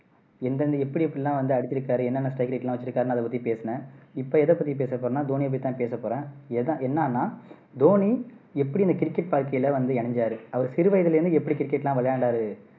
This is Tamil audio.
எந்தெந்த எப்படி எப்படியெல்லாம் வந்து அடிச்சுருக்காரு என்னென்ன strike rate எல்லாம் வச்சுருக்காருன்னு அதை பத்தி பேசுனேன் இப்போ எதை பத்தி பசெ போறேன்னா தோனியை பத்தி தான் பேச போறேன் எத என்னான்னா தோனி எப்படி இந்த கிரிக்கெட் வாழ்க்கையில வந்து இணைஞ்சாரு அவர் சிறுவயதுல இருந்து எப்படி கிரிக்கெட் எல்லாம் விளையாண்டாரு